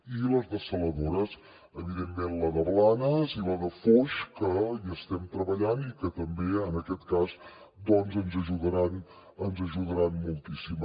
i les dessaladores evidentment la de blanes i la de foix que hi estem treballant i que també en aquest cas doncs ens ajudaran moltíssim